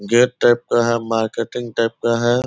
Gate type का है marketing type का है।